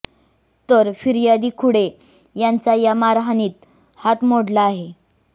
तर फिर्यादी खुडे यांचा या मारहाणीत हात मोडला आहे